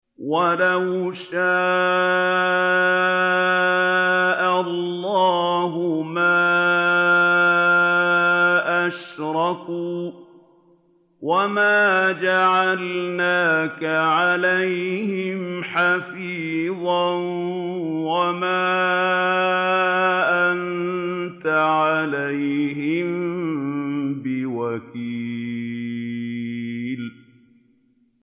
وَلَوْ شَاءَ اللَّهُ مَا أَشْرَكُوا ۗ وَمَا جَعَلْنَاكَ عَلَيْهِمْ حَفِيظًا ۖ وَمَا أَنتَ عَلَيْهِم بِوَكِيلٍ